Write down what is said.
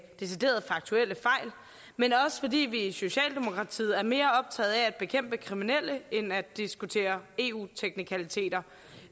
decideret faktuelle fejl men også fordi vi i socialdemokratiet er mere optaget af at bekæmpe kriminelle end at diskutere eu teknikaliteter